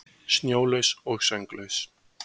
Snjólaus og sönglaus.